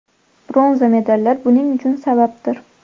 Bronza medallar buning uchun sababdir.